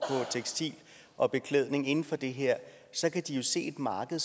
tekstil og beklædning inden for det her så kan de jo se et marked